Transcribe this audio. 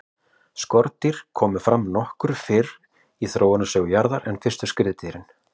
skordýr komu fram nokkuð fyrr í þróunarsögu jarðar en fyrstu skriðdýrin